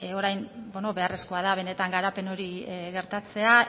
orain beharrezkoa da benetan garapen hori gertatzea